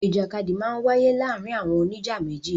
Ìjàkadì máa ń wáyé láàárin àwọn oníjà méjì.